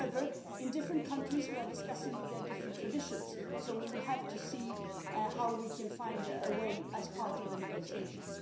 However, in different countries we are discussing with their different traditions, so we will have to see how we can find a way forward as part of the negotiations.